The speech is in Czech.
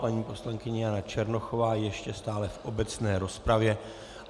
Paní poslankyně Jana Černochová ještě stále v obecné rozpravě.